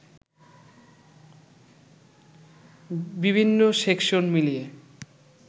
বিভিন্ন সেকশন মিলিয়ে